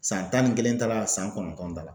San tan ni kelen t'a la san kɔnɔntɔn t'a la.